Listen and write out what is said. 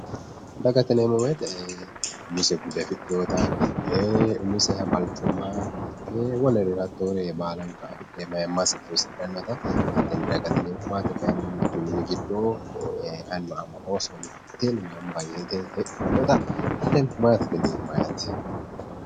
Dagate yineemmo woyte umise bude afidhinotta umiseha balchoomma ,ee wolerira hattore baala afidhe heedhanotta dagate yineemmo mitu minira eani miteni heedhanotta maatete yineemmo